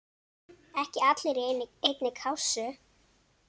Ekki allir í einni kássu!